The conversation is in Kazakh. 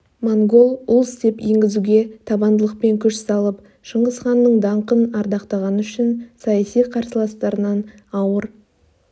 монгол улс деп енгізуге табандылықпен күш салып шыңғыс ханның даңқын ардақтағаны үшін саяси қарсыластарынан ауыр